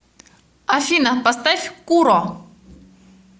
афина поставь к у р о